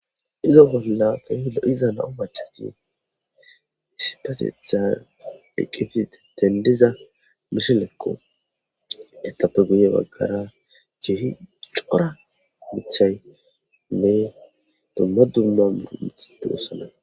Izo bolla feehilo iza nam'u bachati sipatethan eqqiti tendiza mishelekqo ettappe guye baggara ciihi cora mithaynne dumma dummamu mixi du7osana